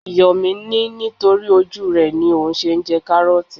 Yomi ní nítorí ojú rẹ ni òun ṣe ń jẹ karooti.